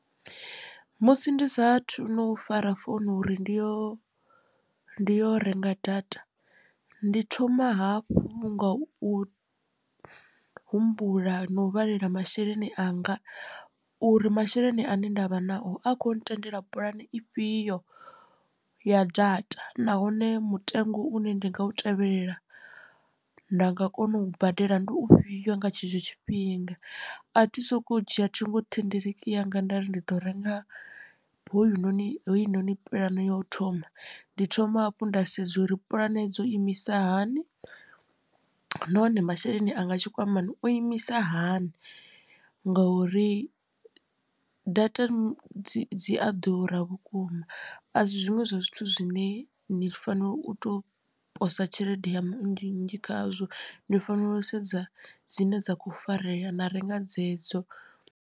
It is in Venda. Musi ndi sathu no u fara founu uri ndi yo ndi yo renga data ndi thoma hafhu nga u humbula na u vhalela masheleni anga u uri masheleni ane ndavha nao a kho ntendela puḽane ifhio ya data nahone mutengo une ndi nga u tevhelela nda nga kona u badela ndi u fhio nga tshetsho tshifhinga. A thi sokou dzhia ṱhingothendeleki yanga nda ri ndi ḓo renga hoyunoni puḽane ya u thoma ndi thoma hafhu nda sedza uri puḽane dzo imisa hani nahone masheleni anga tshikwamani o imisa hani nga uri data dzi dzi a ḓura vhukuma a si zwiṅwe zwa zwithu zwine ni fanela u to posa tshelede yaṋu nnzhi nnzhi khazwo ni fanela u sedza dzine dza kho farea na renga dzedzo.